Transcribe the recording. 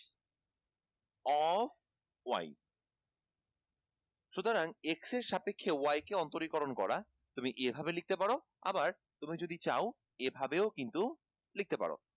of y সুতরাং x এর সাপেক্ষে y কে অন্তরীকরণ করা এভাবে লিখতে পারো আবার তুমি যদি চাও তাহলে এভাবেও কিন্তু লিখতে পারো